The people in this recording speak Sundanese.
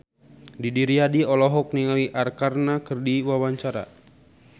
Didi Riyadi olohok ningali Arkarna keur diwawancara